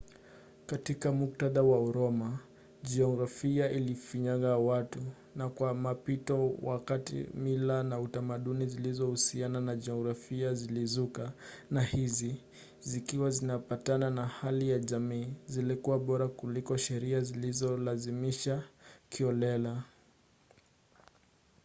katika muktadha wa uroma jiografia ilifinyanga watu na kwa mpito wa wakati mila na tamaduni zilizohusiana na jiografia zilizuka na hizi zikiwa zinapatana na hali ya jamii zilikuwa bora kuliko sheria zilizolazimishwa kiholela